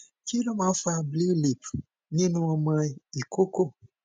kí ló máa ń fa blue lip nínú ọmọ ikoko